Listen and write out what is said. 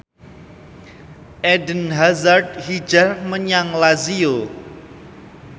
Eden Hazard hijrah menyang Lazio